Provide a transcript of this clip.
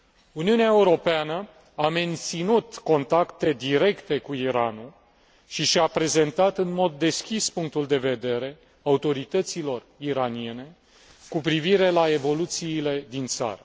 Uniunea Europeană a menținut contacte directe cu Iranul și și a prezentat în mod deschis punctul de vedere autorităților iraniene cu privire la evoluțiile din țară.